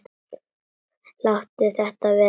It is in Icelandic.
Láttu þetta vera!